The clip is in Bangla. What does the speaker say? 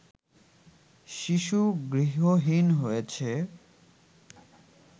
শিশু গৃহহীন হয়েছে